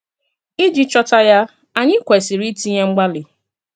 Ìjì chọ̀tà ya, ányì kwesìrì ìtìnyè mgbàlì.